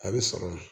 A bɛ sɔrɔ